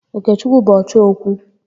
Okechukwu bụ ọchọ okwu.